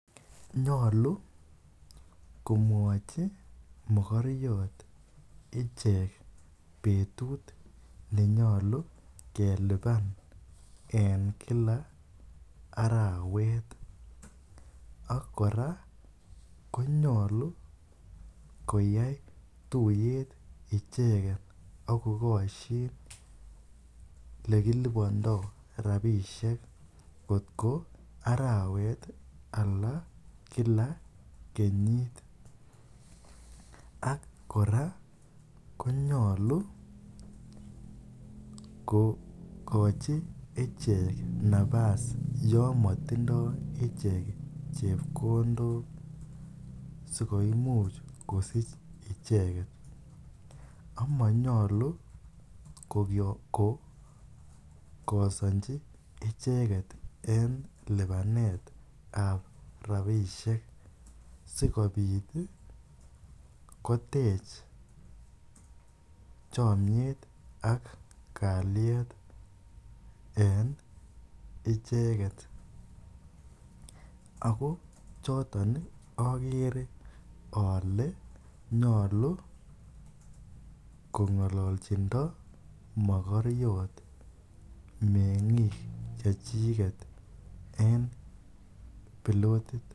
Nyolu komwoji mogoriot ichek betut nenyolu kelipan en kila arawet, ak kora konyolu koyai tuyet ichegen ak kogosyin olekilibondo rabisiek ng'otko arawet ala kila kenyiit ak kora konyolu kogochi icheek napas yomotindo ichek chebkondok sikoimuch kosich icheget, amanyolu kogosonji icheget en lipanet ab rabisiek sikobit kotech chomyet ak kalyet en icheget, ako choton ogere ole kong'ololchindo mogoriot mengik chechiget en bilotit.